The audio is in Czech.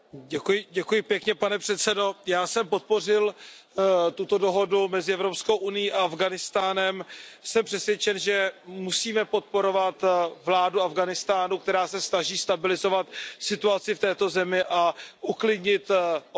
Pane předsedající, já jsem podpořil tuto dohodu mezi Evropskou unií a Afghánistánem. Jsem přesvědčen, že musíme podporovat vládu Afghánistánu, která se snaží stabilizovat situaci v této zemi a uklidnit občanskou válku.